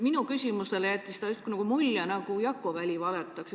Minu küsimusele vastates jättis ta mulje, nagu Jakko Väli valetaks.